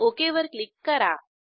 okay वर click करा